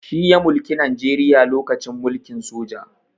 Shi ya mulki najeriya lokacin mulkin soja